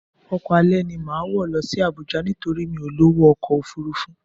Ọkọ alẹ́ ni màá wọ̀ lọ Abuja nítorí mi ò lọ́wọ́ ọkọ̀ Òfurufú